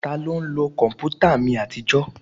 Taló ń lo kọ̀mpútà mi àtijọ́?